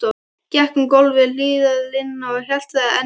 Gekk um gólf við hliðarlínuna og haltraði enn meira.